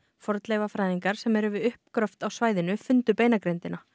fornleifafræðingar sem eru við uppgröft á svæðinu fundu beinagrindina